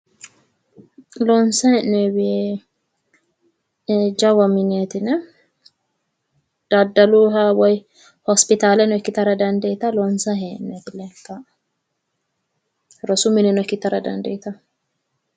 loonsayi hee'noyiwi jawa mineetina daddaluyiiha woyi hospitaaleno ikkitara dandiitanno. loonsayi hee'noyiti leeltanno. rosu mineno ikkitara dandiitawo.